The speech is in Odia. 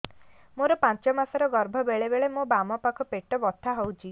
ମୋର ପାଞ୍ଚ ମାସ ର ଗର୍ଭ ବେଳେ ବେଳେ ମୋ ବାମ ପାଖ ପେଟ ବଥା ହଉଛି